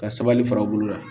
Ka sabali fara u bolo la